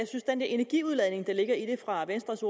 energiudladning der ligger i det fra venstres